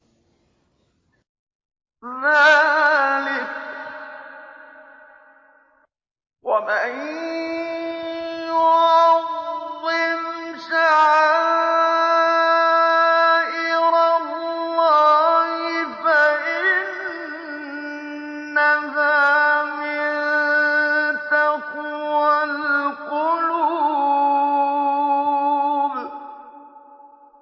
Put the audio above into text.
ذَٰلِكَ وَمَن يُعَظِّمْ شَعَائِرَ اللَّهِ فَإِنَّهَا مِن تَقْوَى الْقُلُوبِ